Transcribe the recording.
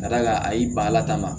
Ka d'a kan a y'i ban a la taama